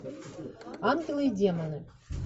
ангелы и демоны